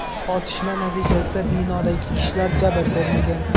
Otishma natijasida binodagi kishilar jabr ko‘rmagan.